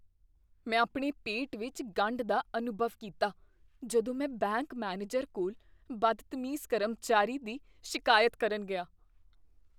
ਮੈਂ ਆਪਣੇ ਪੇਟ ਵਿੱਚ ਗੰਢ ਦਾ ਅਨੁਭਵ ਕੀਤਾ ਜਦੋਂ ਮੈਂ ਬੈਂਕ ਮੈਨੇਜਰ ਕੋਲ ਬਦਤਮੀਜ਼ ਕਰਮਚਾਰੀ ਦੀ ਸ਼ਿਕਾਇਤ ਕਰਨ ਗਿਆ।